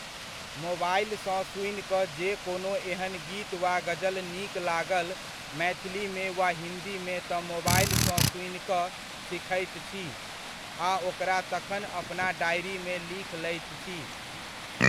मोबाइलसँ सुनि कऽ जे कोनो एहन गीत वा ग़ज़ल नीक लागल मैथिलीमे वा हिन्दीमे तऽ मोबाइलसँ सुनि कऽ सीखैत छी आ ओकरा तखन अपना डायरीमे लिख लैत छी।